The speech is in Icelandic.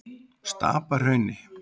Stapahrauni